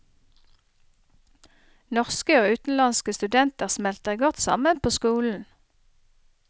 Norske og utenlandske studenter smelter godt sammen på skolen.